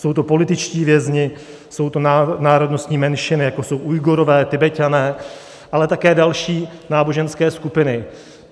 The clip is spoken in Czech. Jsou to političtí vězni, jsou to národnostní menšiny, jako jsou Ujgurové, Tibeťané, ale také další náboženské skupiny.